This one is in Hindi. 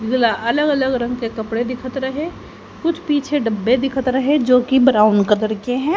अलग अलग रंग के कपड़े दिखाते रहे कुछ पीछे डब्बे दिखाते रहे जो कि ब्राउन कलर के हैं।